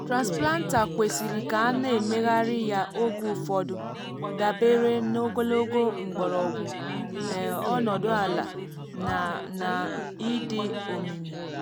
transplanter kwesịrị ka ana emegharị ya oge ụfọdụ dabere n’ogologo mgbọrọgwụ um ọnọdụ ala na na ịdị omimi. um